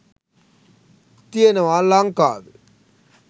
තියෙනවා ලංකාවේ.